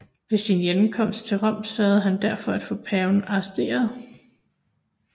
Ved sin hjemkomst til Rom sørgede han derfor for at få paven arresteret